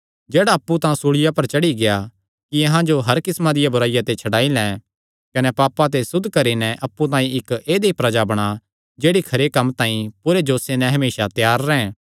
जेह्ड़ा अप्पु अहां तांई सूल़िया पर चढ़ी गिया कि अहां जो हर किस्मा दिया बुराईया ते छड्डाई लैं कने पापां ते सुद्ध करी नैं अप्पु तांई इक्क ऐदई प्रजा बणां जेह्ड़ी खरे कम्मां तांई पूरे जोशे नैं हमेसा त्यार रैंह्